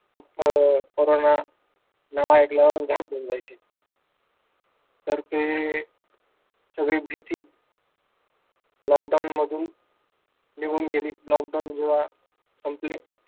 अं corona नाव ऐकल्यावरच घाबरून जायचे. तर ते सगळी भीती lockdown मधून निघून गेली. lockdown जेव्हा संपले,